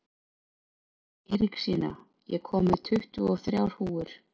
Eiríksína, ég kom með tuttugu og þrjár húfur!